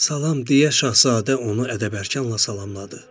Salam, deyə Şahzadə onu ədəb-ərkanla salamladı.